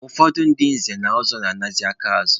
Ụfọdụ ndị nze na ọzọ na-anazị aka azụ.